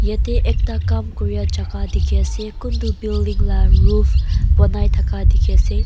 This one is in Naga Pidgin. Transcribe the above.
yati ekta kam kuria jaka teki ase kuntoh building laga roof ponai taka teki ase.